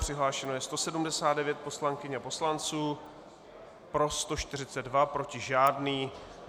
Přihlášeno je 179 poslankyň a poslanců, pro 142, proti žádný.